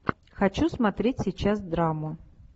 хочу смотреть сейчас драму